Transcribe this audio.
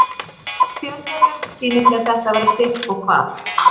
Í fjölmiðlum sýnist mér þetta vera sitt og hvað.